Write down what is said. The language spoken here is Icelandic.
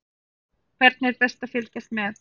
Hvernig er best að fylgjast með?